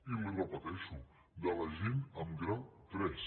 i li ho repeteixo de la gent amb grau tres